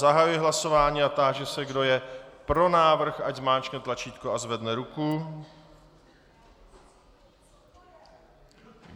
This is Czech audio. Zahajuji hlasování a táži se, kdo je pro návrh, ať zmáčkne tlačítko a zvedne ruku.